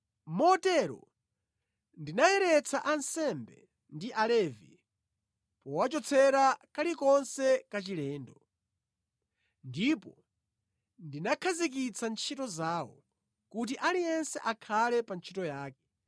Motero ndinayeretsa ansembe ndi Alevi powachotsera kalikonse kachilendo. Ndipo ndinakhazikitsa ntchito zawo, kuti aliyense akhale pa ntchito yake.